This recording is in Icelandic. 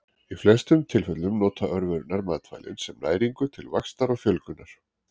Í flestum tilfellum nota örverurnar matvælin sem næringu til vaxtar og fjölgunar.